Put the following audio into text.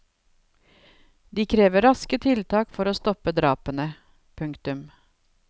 De krever raske tiltak for å stoppe drapene. punktum